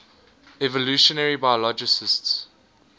evolutionary biologists